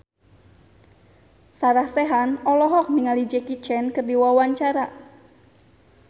Sarah Sechan olohok ningali Jackie Chan keur diwawancara